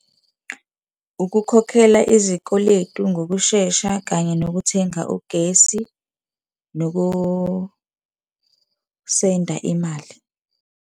Ukukhokhela izikweletu ngokushesha, kanye nokuthenga ugesi, noku-send-a imali.